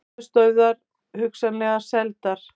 Höfuðstöðvar hugsanlega seldar